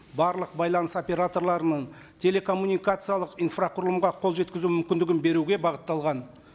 барлық байланыс операторларының телекоммуникациялық инфрақұрылымға қол жеткізу мүмкіндігін беруге бағытталған